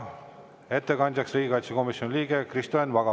Ettekandjaks palun riigikaitsekomisjoni liikme Kristo Enn Vaga.